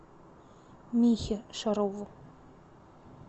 михе шарову